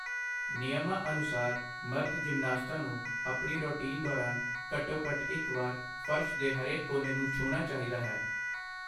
ਨਿਯਮਾਂ ਅਨੁਸਾਰ ਮਰਦ ਜਿਮਨਾਸਟਾਂ ਨੂੰ ਆਪਣੀ ਰੁਟੀਨ ਦੌਰਾਨ ਘੱਟੋ-ਘੱਟ ਇੱਕ ਵਾਰ ਫਰਸ਼ ਦੇ ਹਰੇਕ ਕੋਨੇ ਨੂੰ ਛੂਹਣਾ ਚਾਹੀਦਾ ਹੈ।